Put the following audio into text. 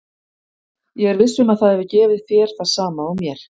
Ég er viss um að það hefur gefið þér það sama og mér.